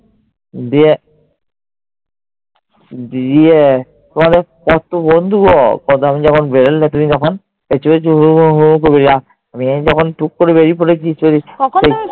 দিয়ে দিয়ে তোমাদের কত বন্ধু গো? প্রথমে যখন বেরোলে তুমি তখন, পিছু পিছু হুহু হুহু করে আমি যখন টুক করে বেরিয়ে পরেছি